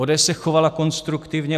ODS se chovala konstruktivně.